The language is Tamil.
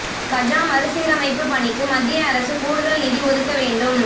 கஜா மறு சீரமைப்பு பணிக்கு மத்திய அரசு கூடுதல் நிதி ஒதுக்க வேண்டும்